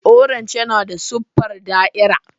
Orange yana da siffar da'irar.